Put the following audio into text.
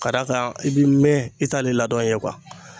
Ka d'a kan i b'i mɛn i t'ale ladɔn ye